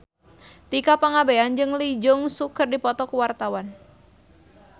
Tika Pangabean jeung Lee Jeong Suk keur dipoto ku wartawan